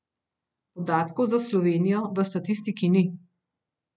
Podatkov za Slovenijo v statistiki ni.